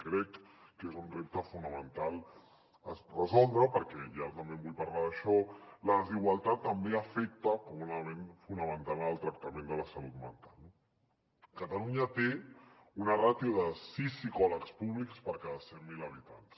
crec que és un repte fonamental a resoldre perquè i ara també vull parlar d’això la desigualtat també afecta com un element fonamental en el tractament de la salut mental no catalunya té una ràtio de sis psicòlegs públics per cada cent mil habitants